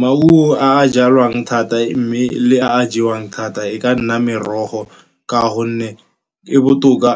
Maungo a a jalwang thata, mme le a jewang thata e ka nna merogo, ka gonne e botoka.